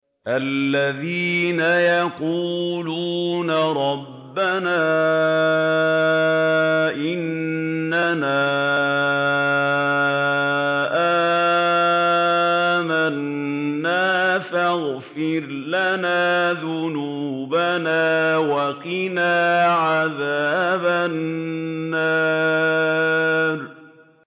الَّذِينَ يَقُولُونَ رَبَّنَا إِنَّنَا آمَنَّا فَاغْفِرْ لَنَا ذُنُوبَنَا وَقِنَا عَذَابَ النَّارِ